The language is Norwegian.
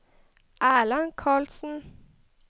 Erland Carlsen